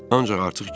Ancaq artıq gec idi.